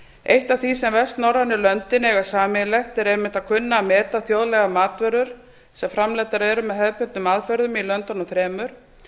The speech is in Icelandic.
eitt af því sem vestnorrænu löndin eiga sameiginlegt er einmitt að kunna að meta þjóðlegar matvörur sem framleiddar eru með hefðbundnum aðferðum í löndunum þremur